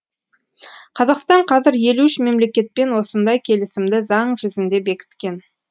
қазақстан қазір елу үш мемлекетпен осындай келісімді заң жүзінде бекіткен